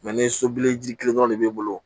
ni sobiliji kelen dɔrɔn de b'i bolo